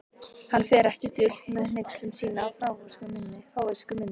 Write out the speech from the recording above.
Hann fer ekki dult með hneykslun sína á fávisku minni.